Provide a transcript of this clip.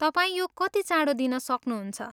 तपाईँ यो कति चाँडो दिन सक्नुहुन्छ?